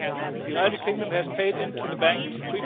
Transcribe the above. The United Kingdom has paid